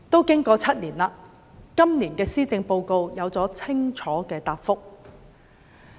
經過了7年，今年的施政報告有了清楚的答覆。